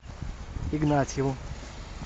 игнатьеву